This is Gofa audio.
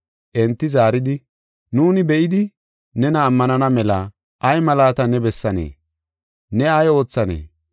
Enti zaaridi, “Nuuni be7idi, nena ammanana mela ay malaata ne bessanee? Ne ay oothanee?